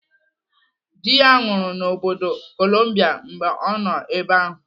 Dị ya nwụrụ n'obodo Kolumbia mgbe ọ nọ ebe ahụ.